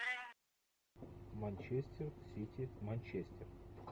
манчестер сити манчестер